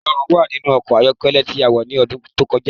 Ìrọ̀rùn wà nínú ọkọ̀ ayọ́kẹ́lẹ́ tí a wọ ni ọdún tó kọjá